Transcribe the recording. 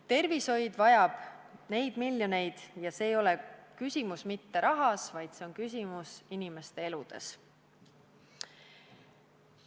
Tervishoid vajab neid miljoneid ja siin ei ole küsimus mitte rahas, vaid küsimus on inimeste eludes.